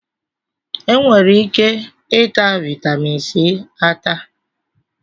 Enwere ike ịta vitaminsi ata